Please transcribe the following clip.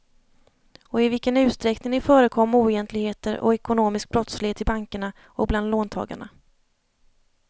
Och i vilken utsträckning det förekom oegentligheter och ekonomisk brottslighet i bankerna och bland låntagarna.